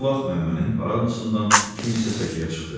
Bu vaxt Məmmənin paradnosundan kim isə səkiyə çıxdı.